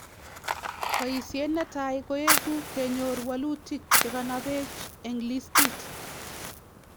"Boyisyeet netai koekuu kenyoor walutiik chekanapeech en listiit